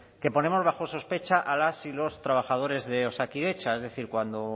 que ponemos bajo sospecha a las y los trabajadores de osakidetza es decir cuando